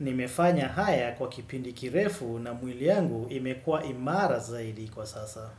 Nimefanya haya kwa kipindi kirefu na mwili yangu imekuwa imara zaidi kwa sasa.